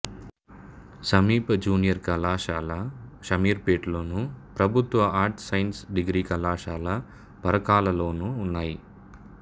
సమీప జూనియర్ కళాశాల షామీర్ పేట్లోను ప్రభుత్వ ఆర్ట్స్ సైన్స్ డిగ్రీ కళాశాల పరకాలలోనూ ఉన్నాయి